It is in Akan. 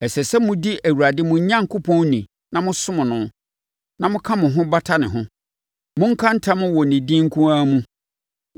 Ɛsɛ sɛ modi Awurade mo Onyankopɔn ni na mosom no, na moka mo ho bata ne ho. Monka ntam wɔ ne din nko ara mu.